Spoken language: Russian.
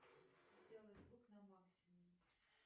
сделай звук на максимум